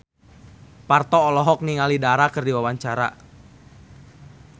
Parto olohok ningali Dara keur diwawancara